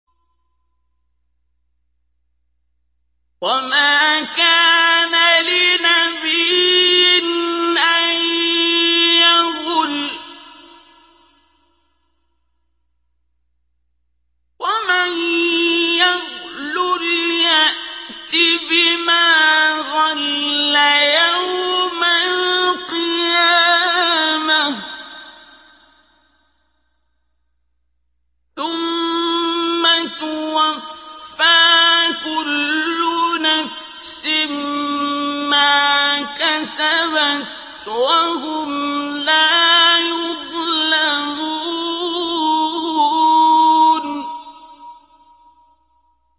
وَمَا كَانَ لِنَبِيٍّ أَن يَغُلَّ ۚ وَمَن يَغْلُلْ يَأْتِ بِمَا غَلَّ يَوْمَ الْقِيَامَةِ ۚ ثُمَّ تُوَفَّىٰ كُلُّ نَفْسٍ مَّا كَسَبَتْ وَهُمْ لَا يُظْلَمُونَ